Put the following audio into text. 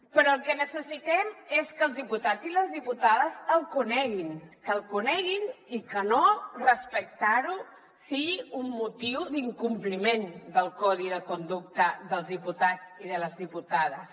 però el que necessitem és que els diputats i les diputades el coneguin que el coneguin i que no respectar lo sigui un motiu d’incompliment del codi de conducta dels diputats i de les diputades